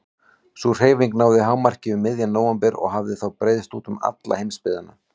Sú hreyfing náði hámarki um miðjan nóvember og hafði þá breiðst út um alla heimsbyggðina.